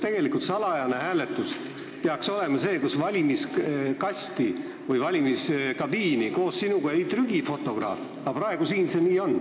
Tegelikult peaks salajane hääletus olema selline, kus valimiskasti või valimiskabiini ei trügi sinuga koos fotograaf, aga praegu siin nii on.